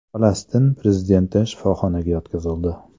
Falastin prezidenti shifoxonaga yotqizildi.